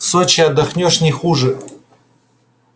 в сочи отдохнёшь не хуже